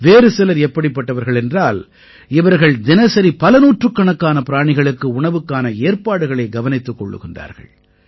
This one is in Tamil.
வேறு சிலர் எப்படிப்பட்டவர்கள் என்றால் இவர்கள் தினசரி பல நூற்றுக்கணக்கான பிராணிகளுக்கு உணவுக்கான ஏற்பாடுகளைக் கவனித்துக் கொள்கிறார்கள்